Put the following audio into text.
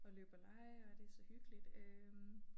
Og løbe og lege og det så hyggeligt øh